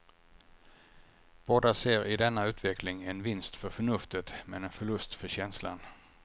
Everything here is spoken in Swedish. Båda ser i denna utveckling en vinst för förnuftet men en förlust för känslan.